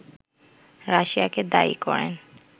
রাশিয়াকে দায়ী করেন